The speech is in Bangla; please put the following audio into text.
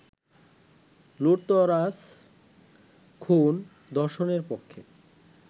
লুঠতরাজ-খুন-ধর্ষণের পক্ষে